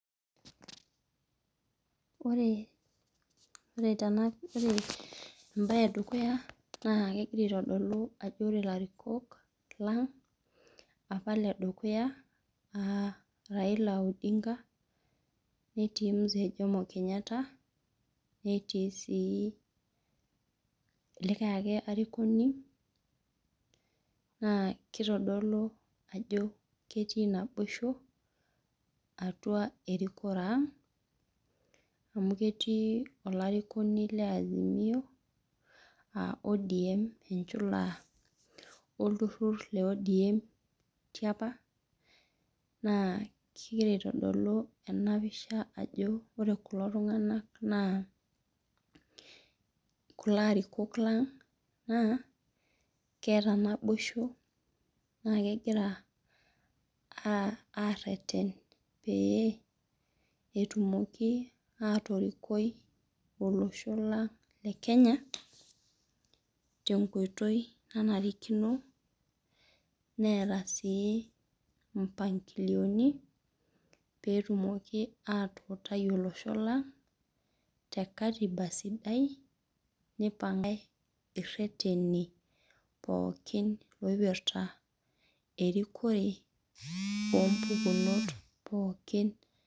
Ore tenapisha ore embae edukuya nagira aitadolu ajo ore larikok lang' apa ledukuya neti raila odinga, netii mzee jomo kenya netii si likae. Ake arikoni ma kitadolu ajo ketii naboisho atia erikore aang aketii olarikoni lenchula e odm tiapa na kegir aitadolu tenapisha ajo ore kulo arikok lang ajo keeta naboisho na kegira areten peyie etumoki atorikoi olosho lang le kenya tenkoitoi nanarikino neeta si moangoni petumoki atuutai olosho lang te katiba sidai nipangae ireteni oipirta erikore ompukunot pooki.